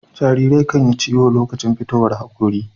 Jarirai kan Yi ciyo lokacin fitowar hakori